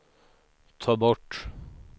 ta bort